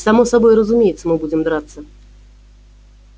само собой разумеется мы будем драться